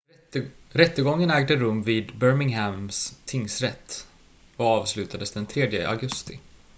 rättegången ägde rum vid birminghams tingsrätt och avslutades den 3 augusti